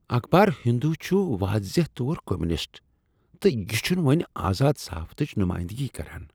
اخبار ہندو چھ واضح طور کمیونسٹ تہٕ یہ چھنہٕ وۄنۍ آزاد صحافتٕچ نمایندگی کران۔